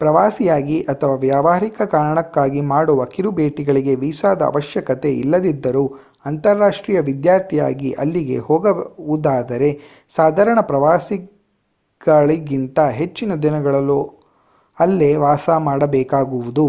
ಪ್ರವಾಸಿಯಾಗಿ ಅಥವಾ ವ್ಯವಹಾರಿಕ ಕಾರಣಕ್ಕಾಗಿ ಮಾಡುವ ಕಿರು ಭೇಟಿಗಳಿಗೆ ವೀಸಾದ ಅವಶ್ಯಕತೆ ಇಲ್ಲದಿದ್ದರೂ ಅಂತಾರಾಷ್ಟೀಯ ವಿದ್ಯಾರ್ಥಿಯಾಗಿ ಅಲ್ಲಿಗೆ ಹೋಗುವುದಾದರೆ ಸಾಧಾರಣ ಪ್ರವಾಸಿಗಳಿಗಿಂತ ಹೆಚ್ಚಿನ ದಿನಗಳು ಅಲ್ಲೇ ವಾಸ ಮಾಡಬೇಕಾಗುವುದು